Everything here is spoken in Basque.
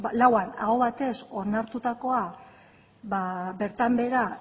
lauan aho batez onartutakoa bertan behera